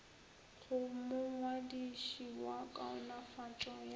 go mongwadiši wa kaonafatšo ya